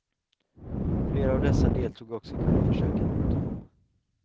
Flera av dessa deltog också i kuppförsöket mot honom.